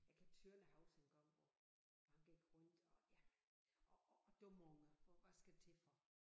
Jeg kan tydeligt huske engang hvor han gik rundt og jamen og og og dumme unger hvad skal det til for